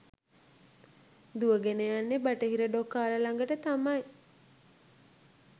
දුවගෙන යන්නෙ බටහිර ඩොකාල ළඟට තමයි.